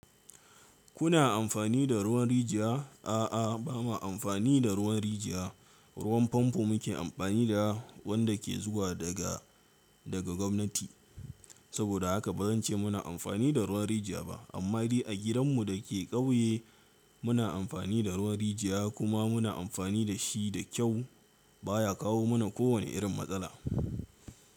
Kuna amfani da ruwan rijiya? A'a, ba ma amfani da ruwan rijiya. Ruwan famfo muke amfani da wanda ke zuwa daga, daga gwamnati. Saboda haka ba zan ce muna amfani da ruwan rijiya ba. Amma dai a gidan mu da ke ƙauye muna amfani da ruwan rijiya kuma muna amfani da shi da kyau baya kawo mana kowane irin matsala.